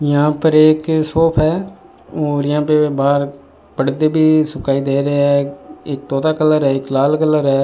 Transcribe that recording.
यहां पर एक शॉप है और यहां पे बाहर पर्दे भी सुखाई दे रहे हैं एक तोता कलर है एक लाल कलर है।